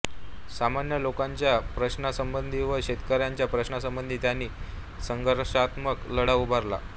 सामान्य लोकांच्या प्रश्नासंबंधी व शेतकऱ्यांच्या प्रश्नांसंबंधी त्यांनी संघर्षात्मक लढा उभारला